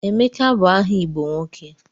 Emeka bụ aha Igbo nwoke.